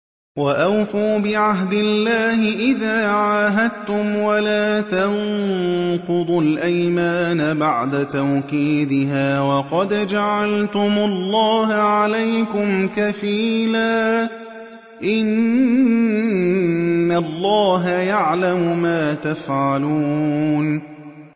وَأَوْفُوا بِعَهْدِ اللَّهِ إِذَا عَاهَدتُّمْ وَلَا تَنقُضُوا الْأَيْمَانَ بَعْدَ تَوْكِيدِهَا وَقَدْ جَعَلْتُمُ اللَّهَ عَلَيْكُمْ كَفِيلًا ۚ إِنَّ اللَّهَ يَعْلَمُ مَا تَفْعَلُونَ